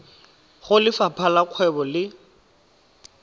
go lefapha la kgwebo le